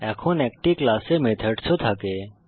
এখন একটি ক্লাসে মেথডস ও থাকে